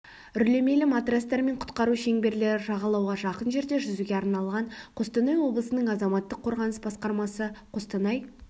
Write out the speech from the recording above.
үрлемелі матрастар мен құтқару шеңберлері жағалауға жақын жерде жүзуге арналған қостанай облысының азаматтық қорғаныс басқармасы қостанай